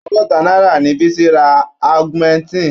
Àádọ́ta náírà ni Bísí ra augmentin.